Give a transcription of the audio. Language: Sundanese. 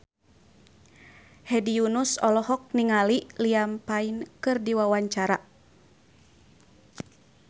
Hedi Yunus olohok ningali Liam Payne keur diwawancara